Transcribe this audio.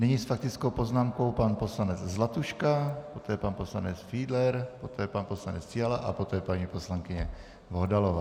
Nyní s faktickou poznámkou pan poslanec Zlatuška, poté pan poslanec Fiedler, poté pan poslanec Fiala a poté paní poslankyně Bohdalová.